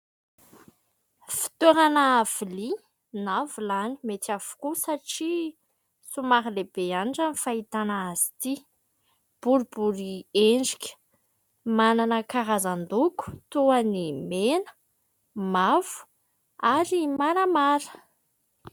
Fitoerana vilia na vilany, mety avokoa satria somary lehibe ihany raha ny fahitana azy ity. Boribory endrika, manana karazan-doko toa ny mena, mavo ary maramara.